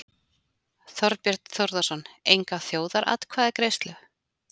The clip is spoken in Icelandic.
Þorbjörn Þórðarson: Enga þjóðaratkvæðagreiðslu?